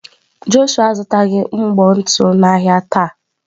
Jọshụa azụtaghị mbọ ntu n'ahịa taa.